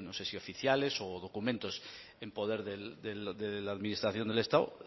no sé si oficiales o documentos en poder de la administración del estado